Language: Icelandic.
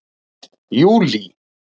júlí